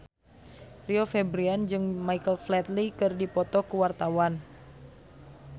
Rio Febrian jeung Michael Flatley keur dipoto ku wartawan